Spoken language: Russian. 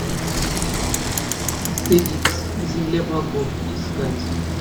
астерикс земля богов искать